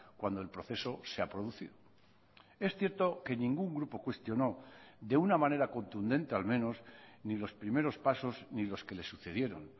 cuando el proceso se ha producido es cierto que ningún grupo cuestionó de una manera contundente al menos ni los primeros pasos ni los que le sucedieron